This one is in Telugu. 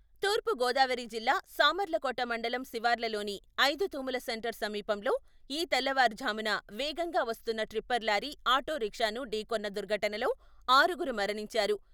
తూర్పు గోదావరి జిల్లా సామర్లకోట మండలం శివార్లలోని ఐదు తూములు సెంటర్ సమీపంలో ఈ తెల్లవారు ఝామున వేగంగా వస్తున్న ట్రిప్పర్ లారీ ఆటో రిక్షాను ఢీకొన్న దుర్ఘటనలో ఆరుగురు మరణించారు.